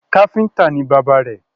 Káfíntà ní bàbá rẹ̀